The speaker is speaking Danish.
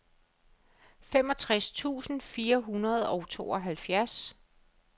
femogtres tusind fire hundrede og tooghalvfjerds